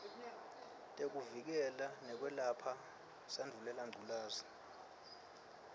tekuvikela nekwelapha sandvulelangculazi